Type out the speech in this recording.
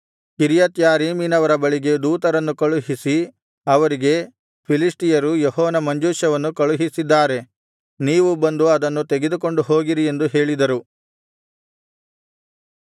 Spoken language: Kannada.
ಕಿರ್ಯತ್ಯಾರೀಮಿನವರ ಬಳಿಗೆ ದೂತರನ್ನು ಕಳುಹಿಸಿ ಅವರಿಗೆ ಫಿಲಿಷ್ಟಿಯರು ಯೆಹೋವನ ಮಂಜೂಷವನ್ನು ಕಳುಹಿಸಿದ್ದಾರೆ ನೀವು ಬಂದು ಅದನ್ನು ತೆಗೆದುಕೊಂಡು ಹೋಗಿರಿ ಎಂದು ಹೇಳಿದರು